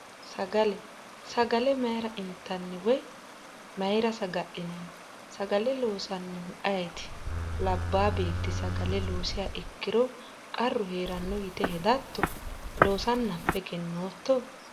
Sagale sagale mayra intanni woy mayra saga'linanni sagale loosannohu ayeeeti labbaa beetti sagale loosiha ikkiro qarru heeranno yite hedatto loosanna affe egennootto